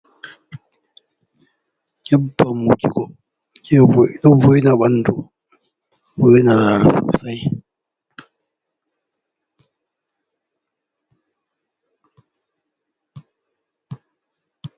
Nyebbam wujugo, ɗo wo'ina ɓanndu ɗo wo'ina sosay.